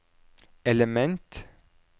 element